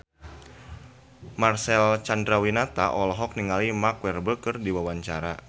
Marcel Chandrawinata olohok ningali Mark Walberg keur diwawancara